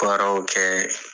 kɛ.